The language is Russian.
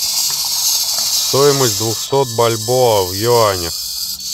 стоимость двухсот бальбоа в юанях